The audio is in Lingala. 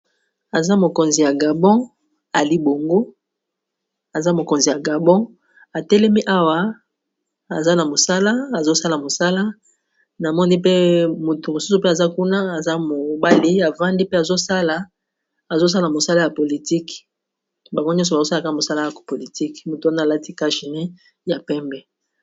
Aza mokonzi ya gabon, atelemi awa aza na mosala azosala mosala na moni pe moto mosusu mpe aza kuna aza mobali avandi pe azosala mosala ya politike bango nyonso bazosalaka mosala ya kopolitike moto wana alati kachine ya pembe